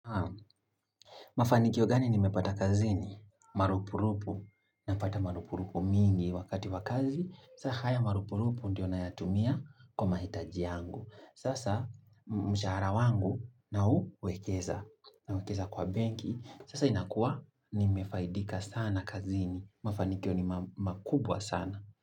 Mafanikio gani ni mepata kazini? Marupurupu. Napata marupurupu mingi wakati wa kazi. Saa haya marupurupu ndiyo nayatumia kwa mahitaji yangu. Sasa mshahara wangu nauwekeza. Nauwekeza kwa benki. Sasa inakua ni mefaidika sana kazini. Mafanikyo ni makubwa sana.